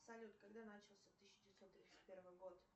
салют когда начался тысяча девятьсот тридцать первый год